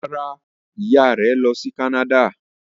Rárá, ìyá rẹ̀ lọ sí Canada.